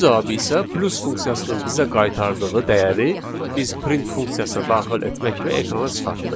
İkinci cavabı isə plus funksiyasının bizə qaytardığı dəyəri biz print funksiyasına daxil etməklə ekrana çıxartdıq.